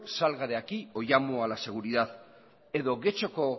salga de aquí o llamo a la seguridad edo getxoko